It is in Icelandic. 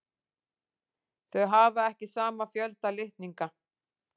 Þau hafa ekki sama fjölda litninga.